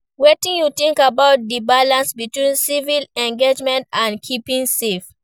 Wetin you think about di balance between civic engagement and keeping safe?